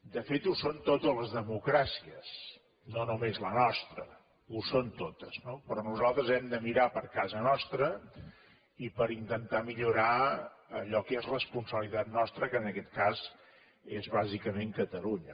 de fet ho són totes les democràcies no només la nostra ho són totes no però nosaltres hem de mirar per casa nostra i per intentar millorar allò que és responsabilitat nostra que en aquest cas és bàsicament catalunya